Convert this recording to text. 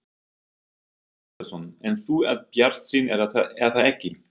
Sindri Sindrason: En þú ert bjartsýn er það ekki?